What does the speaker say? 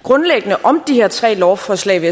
og grundlæggende om de her tre lovforslag vil